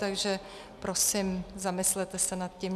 Takže prosím, zamyslete se nad tím.